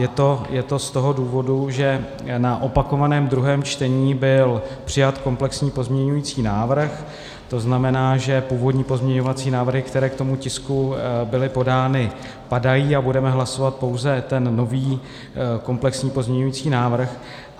Je to z toho důvodu, že na opakovaném druhém čtení byl přijat komplexní pozměňovací návrh, to znamená, že původní pozměňovací návrhy, které k tomu tisku byly podány, padají a budeme hlasovat pouze ten nový komplexní pozměňovací návrh.